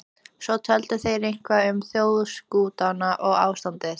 Svo töluðu þeir eitthvað um þjóðarskútuna og ástandið í